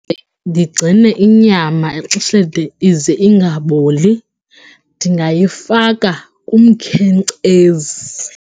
ndigcine inyama exesheni ize ingaboli ndingayifaka kumkhenkcezi.